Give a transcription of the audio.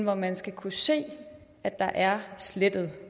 at man skal kunne se at der er slettet